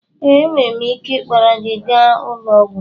Ee, enwere m ike ịkpọrọ gị gaa ụlọ ọgwụ